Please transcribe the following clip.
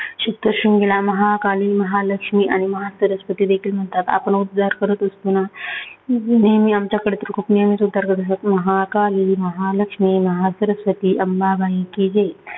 सप्तशृंगीला महाकाली, महालक्ष्मी, महासरस्वती देखील असे म्हणतात आपण उद्धार करत असतो ना नेहमी आमच्याकडे तर नेहमीच उद्धार करतो महाकाली, महालक्ष्मी, महासरस्वती, अंबाबाई की जय